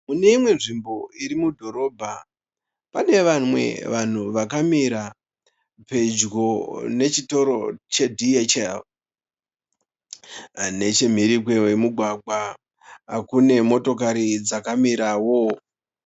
Mune imwe nzvimbo iri mudhorobha pane vamwe vanhu vakamira pedyo nechitoro che DHL. Nechemhiri kwemugwagwa kune motokari dzakamirawo.